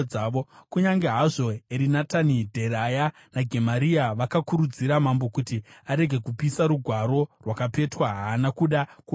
Kunyange hazvo Erinatani, Dheraya, naGemaria vakakurudzira mambo kuti arege kupisa rugwaro rwakapetwa haana kuda kuvanzwa.